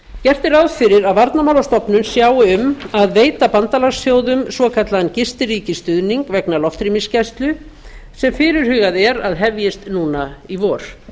gert er ráð fyrir að varnarmálastofnun sjái um að veita bandalagsþjóðum svokallaðan gistiríkisstuðning vegna loftrýmisgæslu sem fyrirhugað er að hefjist núna í vor